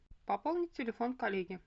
пополнить телефон коллеги